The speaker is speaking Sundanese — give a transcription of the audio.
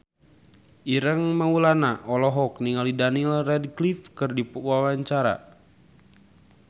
Ireng Maulana olohok ningali Daniel Radcliffe keur diwawancara